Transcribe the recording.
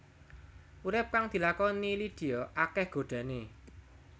Urip kang dilakoni Lydia akéh godhané